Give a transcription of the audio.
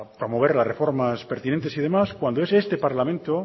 promover las reformas pertinentes y demás cuando es este parlamento